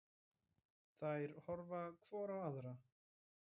Þær horfa hvor á aðra.